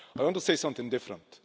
I want to say something different.